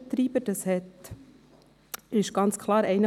Die Krankenkassenprämien steigen in der Regel weiter.